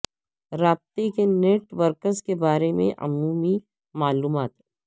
رابطے کے networks کے بارے میں عمومی معلومات